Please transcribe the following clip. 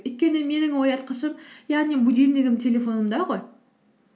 өйткені менің оятқышым яғни будильнигім телефонымда ғой